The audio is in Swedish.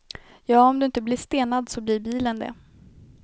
Ja, om du inte blir stenad så blir bilen det.